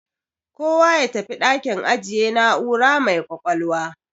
Kowa ya tafi dakin ajiye na'ura mai ƙwaƙwalwa.